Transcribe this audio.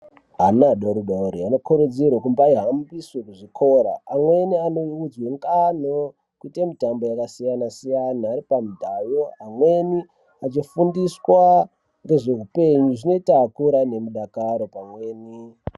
Ana adoridori anokurudzirwa kumbaihambiswe kuzvikora, amweni anoudzwe ngano nekuite mitambo yakasiyana-siyana, ameni aripamudhayo, amweni achifundiswa ngezveupenyu, zvinoita akure anemudakaro pamweni.